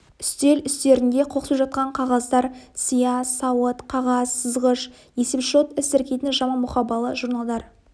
үстел үстерінде қоқсып жатқан қағаздар сия сауыт қағаз сызғыш есепшот іс тіркейтін жаман мұқабалы журналдар